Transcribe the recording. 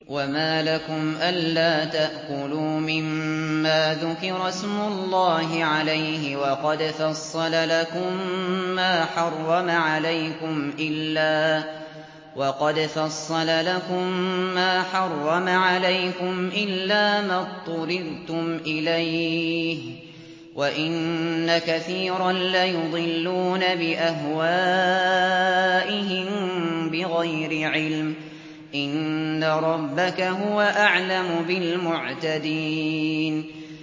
وَمَا لَكُمْ أَلَّا تَأْكُلُوا مِمَّا ذُكِرَ اسْمُ اللَّهِ عَلَيْهِ وَقَدْ فَصَّلَ لَكُم مَّا حَرَّمَ عَلَيْكُمْ إِلَّا مَا اضْطُرِرْتُمْ إِلَيْهِ ۗ وَإِنَّ كَثِيرًا لَّيُضِلُّونَ بِأَهْوَائِهِم بِغَيْرِ عِلْمٍ ۗ إِنَّ رَبَّكَ هُوَ أَعْلَمُ بِالْمُعْتَدِينَ